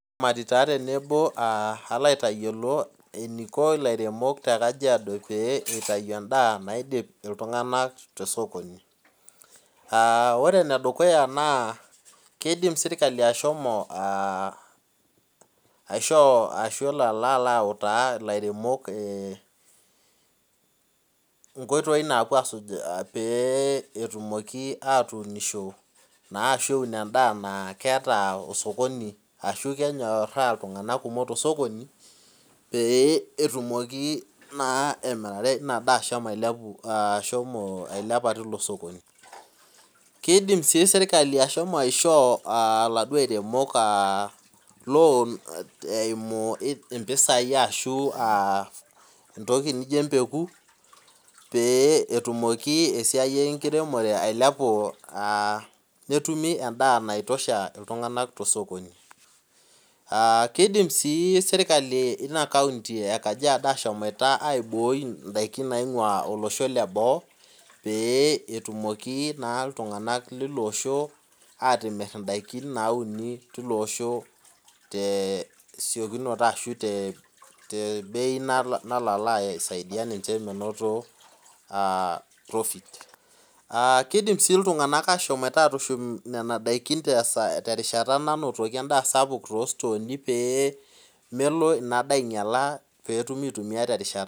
Mairiamari taa tenebo kalo aitayiolo eniko ilaremok tekajiado pitau endaa naidip ltunganak tekajiado ore enedukuya kidim serkali ashomo aishoo ashu elo autaa lairemok nkoitoi napuo asuj petumoki ashomo atuunisho aun endaa naata osokoni ashu kenyoraa ltunganak kumok tosokoni petumokibemirata endaa ashomo ailepu kidim si serkali ashomo aishoo laduo aremok loan eimu mpisai ashu entoki nijo empeku petumoki esiai enkiremore ailepu neilepu esiai enkiremore tosokoni aa kidim si serkali inakaunti ekajiado ashomo aiboi ndakini naingua loshon leboo petumoki atim ndakin nauni tilo osho tesiokinoto ashu tebei nalo aisaidia ninch petum profit kidim si ashomoita atushum enkata nainotoki endaa sapuk tositoni petumi aitumia enkata natalaki